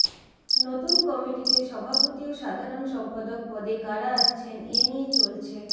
নতুন কমিটিতে সভাপতি ও সাধারণ সম্পাদক পদে কারা আসছেন এ নিয়ে চলছে